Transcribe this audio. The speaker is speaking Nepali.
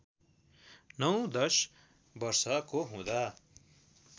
नौ दश वर्षको हुँदा